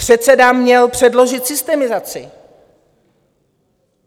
Předseda měl předložit systemizaci.